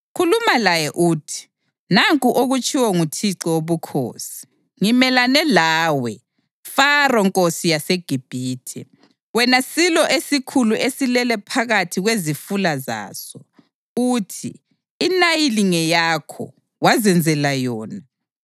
Khuluma laye uthi: ‘Nanku okutshiwo nguThixo Wobukhosi: Ngimelane lawe, Faro nkosi yaseGibhithe, wena silo esikhulu esilele phakathi kwezifula zaso. Uthi, “INayili ngeyakho; wazenzela yona.”